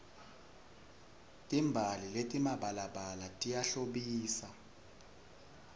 timbali letimabalabala tiyahlobisa